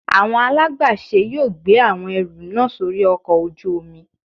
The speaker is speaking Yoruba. Awọn alagbàṣe yóò gbe awọn ẹru naa sori ọkò ojú omí